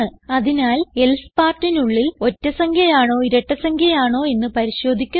അതിനാൽ എൽസെ partനുള്ളിൽ ഒറ്റ സംഖ്യ ആണോ ഇരട്ട ആണോ എന്ന് പരിശോധിക്കുന്നു